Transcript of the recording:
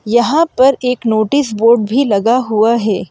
यहाँ पर एक नोटिस बोर्ड भी लगा हुआ है।